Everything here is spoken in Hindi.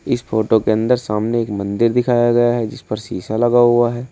इस फोटो के अंदर सामने एक मंदिर दिखाया गया है जिस पर शीशा लगा हुआ है।